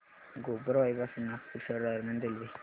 गोबरवाही पासून नागपूर शहर दरम्यान रेल्वे